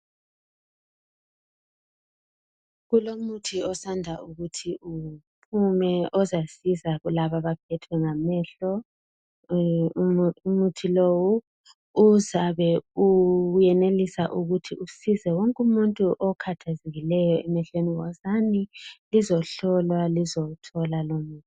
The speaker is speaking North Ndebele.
Kulomuthi osanda ukuthi uphume ozasiza kulabo abaphethwe ngamehlo umuthi lowo uzabe uyenelisa ukuthi usize wonke umuntu okhathezekileyo emehlweni wozani lizohlolwa lizowuthola lumuthi.